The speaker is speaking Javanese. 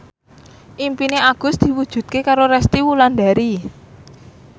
impine Agus diwujudke karo Resty Wulandari